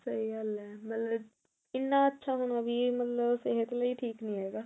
ਸਹੀ ਗੱਲ ਆ ਮਤਲਬ ਇਨਾ ਅੱਛਾ ਹੋਣਾ ਵੀ ਮਤਲਬ ਸਿਹਤ ਲਈ ਠੀਕ ਨੀ ਹੈਗਾ